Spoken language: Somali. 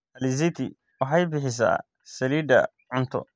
Alizeti waxay bixisaa saliidda cunto.